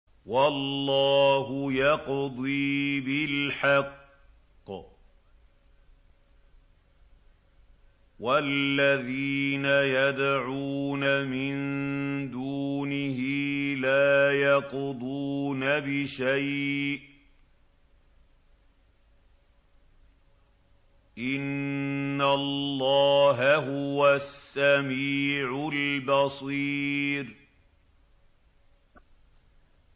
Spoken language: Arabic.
وَاللَّهُ يَقْضِي بِالْحَقِّ ۖ وَالَّذِينَ يَدْعُونَ مِن دُونِهِ لَا يَقْضُونَ بِشَيْءٍ ۗ إِنَّ اللَّهَ هُوَ السَّمِيعُ الْبَصِيرُ